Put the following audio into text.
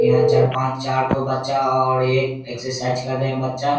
यहाँ चार-पांच चार ठो बच्चा और एक एक्सरसाइज कर रहे हैं बच्चा।